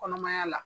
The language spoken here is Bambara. Kɔnɔmaya la